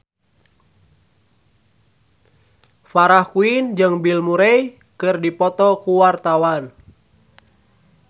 Farah Quinn jeung Bill Murray keur dipoto ku wartawan